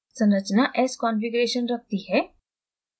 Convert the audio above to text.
संरचना s configuration रखती है